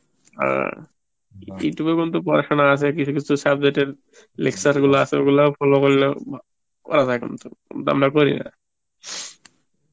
অ্যাঁ Youtube বলতে পরাসনা আছে কিছু কিছু subject এর lecture গুলো আছে, ওগুলোও follow করলে করাযায় কিন্তু আমরা করিনা